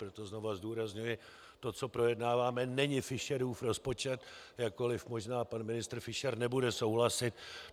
Proto znova zdůrazňuji: To, co projednáváme, není Fischerův rozpočet, jakkoliv možná pan ministr Fischer nebude souhlasit.